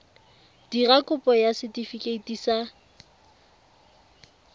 dira kopo ya setefikeiti sa